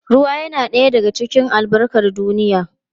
Ruwa yana ɗaya daga cikin albarkar duniya.